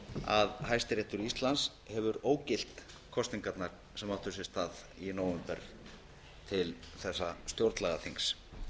að hæstiréttur íslands hefur ógilt kosningarnar sem áttu sér stað í nóvember til þessa stjórnlagaþings